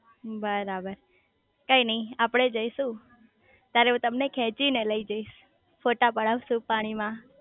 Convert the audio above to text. બરાબર કઈ નાઈ આપડે જઈશું તારે હું તમને ખેંચી ને લઇ જઈશ ફોટા પડાવ શુ પાણી માં